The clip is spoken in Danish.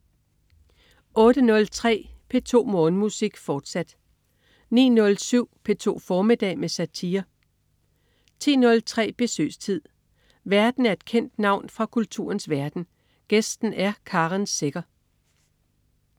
08.03 P2 Morgenmusik, fortsat 09.07 P2 formiddag med satire 10.03 Besøgstid. Værten er et kendt navn fra kulturens verden, gæsten er Karen Secher